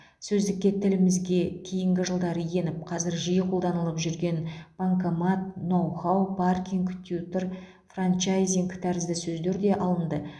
сөздікке тілімізге кейінгі жылдары еніп қазір жиі қолданылып жүрген банкомат ноу хау паркинг тьютор франчайзинг тәрізді сөздер де алынды